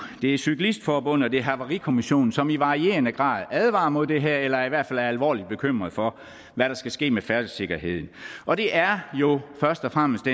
det er cyklistforbundet og det er havarikommissionen som i varierende grad advarer mod det her eller i hvert fald er alvorligt bekymret for hvad der skal ske med færdselssikkerheden og det er jo først og fremmest